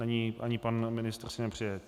Není, ani pan ministr si nepřeje.